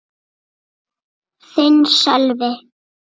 Þinn, Sölvi.